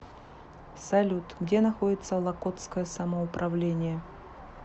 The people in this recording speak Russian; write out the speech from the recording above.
салют где находится локотское самоуправление